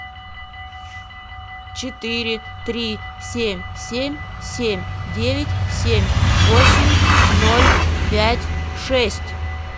четыре три семь семь семь девять семь восемь ноль пять шесть